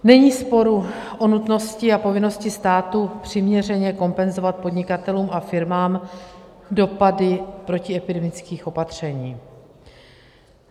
Není sporu o nutnosti a povinnosti státu přiměřeně kompenzovat podnikatelům a firmám dopady protiepidemických opatření.